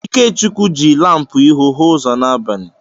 Ikechukwu jị lampu ịhụ hụ ụzọ n'abalị.